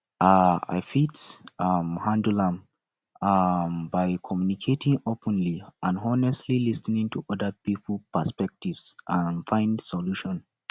um i fit um handle am um by communicating openly and honestly lis ten to oda persons perspective and find solution